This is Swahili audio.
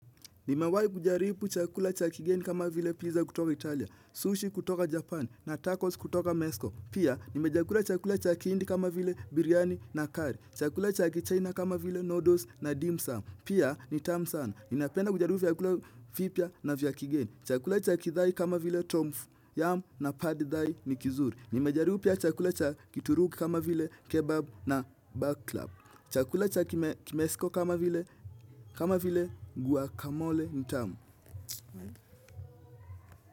Nimewahi kujaribu chakula cha kigeni kama vile pizza kutoka Italia, sushi kutoka Japan na tacos kutoka mexico. Pia nimejakula chakula cha kihindi kama vile biryani na curry. Chakula cha kichina kama vile noodles na dimsum. Pia ni tamu sana. Ninapenda kujaribu vyakula vipya na vya kigeni. Chakula cha kithai kama vile tomfu, yum na padithai ni kizuri. Nimejaribu pia chakula cha kituruki kama vile kebab na baklap. Chakula cha kime kimesiko kama vile kama vile guacamole ni tamu.